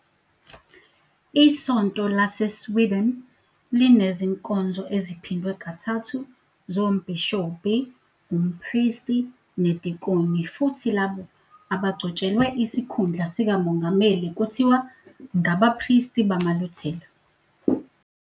ISonto LaseSweden linezinkonzo eziphindwe kathathu zombhishobhi, umpristi, nedikoni futhi labo abagcotshelwe isikhundla sikamongameli kuthiwa ngabapristi bamaLuthela.